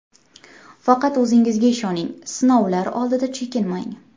Faqat o‘zingizga ishoning, sinovlar oldida chekinmang.